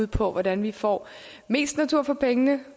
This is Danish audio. på hvordan vi får mest natur for pengene